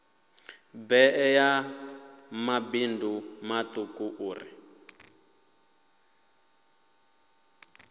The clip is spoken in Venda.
bee ya mabindu matuku uri